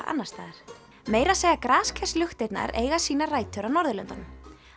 annars staðar meira að segja eiga sínar rætur á Norðurlöndunum